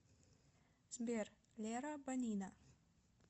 сбер лера банина